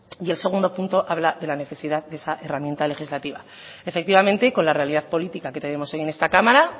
y el segundo punto habla de la necesidad de esa herramienta legislativa efectivamente y con la realidad política que tenemos hoy en esta cámara